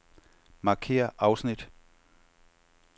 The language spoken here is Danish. Markér afsnit.